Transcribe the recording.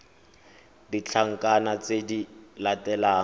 le ditlankana tse di latelang